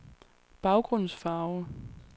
baggrundsfarve